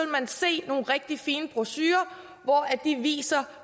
man se nogle rigtig fine brochurer hvor de viser